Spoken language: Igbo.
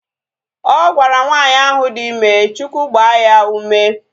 Ọ gwara nwaanyị ahu dị ime Chukwu gbaa ya ume